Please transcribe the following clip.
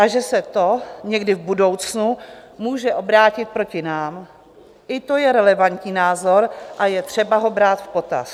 A že se to někdy v budoucnu může obrátit proti nám, i to je relevantní názor a je třeba ho brát v potaz.